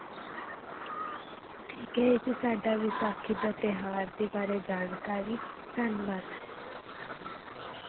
ਠੀਕ ਹੈ ਇਹ ਸੀ ਸਾਡਾ ਵਿਸਾਖੀ ਦਾ ਤਿਉਹਾਰ ਦੇ ਬਾਰੇ ਜਾਣਕਾਰੀ, ਧੰਨਵਾਦ।